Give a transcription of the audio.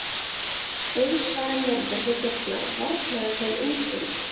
Eiðsvarinn vörður við dyrnar varnaði þeim útgöngu.